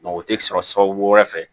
o tɛ sɔrɔ sababu wɛrɛ fɛ